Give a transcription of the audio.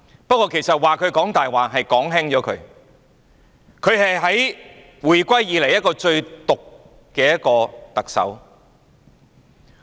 不過，其實說她"講大話"已經是說輕了，她是回歸以來最毒的特首。